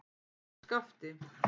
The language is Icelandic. Skafti